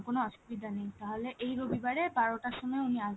কোনো অসুবিধা নেই এই রবিবারে বারোটার সময় উনি আসবেন